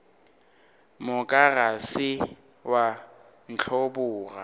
moka se ke wa ntlhoboga